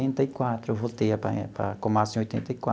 Oitenta e quatro eu voltei para a para a Komatsu em oitenta e